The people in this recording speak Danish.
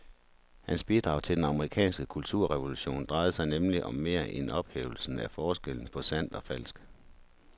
Hans bidrag til den amerikanske kulturrevolution drejede sig nemlig om mere end ophævelsen af forskellen på sandt og falsk.